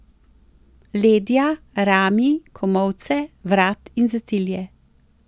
Ledja, rami, komolce, vrat in zatilje.